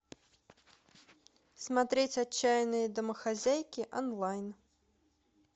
смотреть отчаянные домохозяйки онлайн